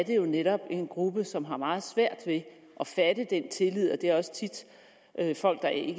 jo netop en gruppe som har meget svært ved at fatte den tillid og det er også tit folk der i